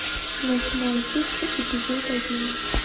восьмое чувство эпизод один